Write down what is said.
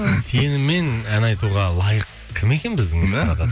сенімен ән айтуға лайық кім екен біздің эстардадан